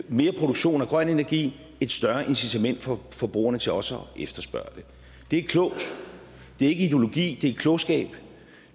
mere produktion af grøn energi et større incitament for forbrugerne til også at efterspørge det det er klogt det er ikke ideologi det er klogskab